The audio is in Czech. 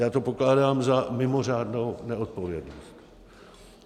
Já to pokládám za mimořádnou neodpovědnost.